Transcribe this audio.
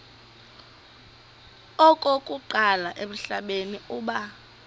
okokuqala emhlabeni uba